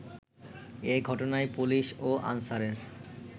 এ ঘটনায় পুলিশ ও আনসারের